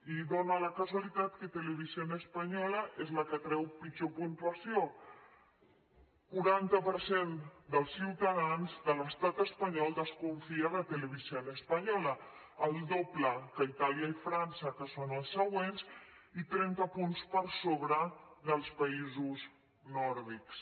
i dona la casualitat que televisión española és la que treu pitjor puntuació quaranta per cent dels ciutadans de l’estat espanyol desconfia de televisión española el doble que a itàlia i frança que són els següents i trenta punts per sobre dels països nòrdics